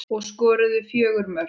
Og skoruðu fjögur mörk.